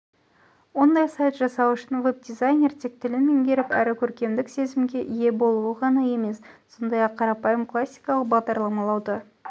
ондай сайт жасау үшін веб-дизайнер тек тілін меңгеріп әрі көркемдік сезімге ие болуы ғана емес сондай-ақ қарапайым классикалық бағдарламалауды